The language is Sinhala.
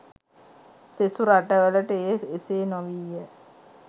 සෙසු රටවලට එය එසේ නොවීය